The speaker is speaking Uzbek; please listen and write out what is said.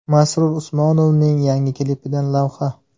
Masrur Usmonovning yangi klipidan lavha.